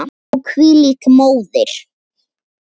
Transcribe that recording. Og hvílík móðir!